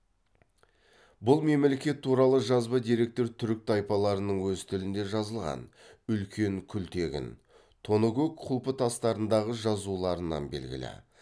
бұл мемлекет туралы жазба деректер түрік тайпаларының өз тілінде жазылған үлкен күлтегін тоныкөк құлпытастарындағы жазуларынан белгілі